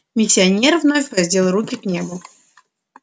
миссионер вновь воздел руки к небу